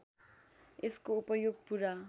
यसको उपयोग पूरा